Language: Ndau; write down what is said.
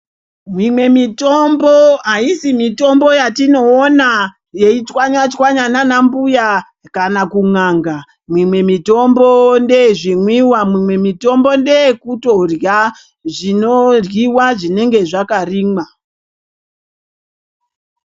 Mumwe mitombo haisi mitombo yatinoona yeichwanywa-chwanywa naanambuya kana kun'anga. Mimwe mitombo ndeyezvimwiwa. Mimwe mitombo ndeyekutorya zvinoryiwa zvinenge zvakarimwa.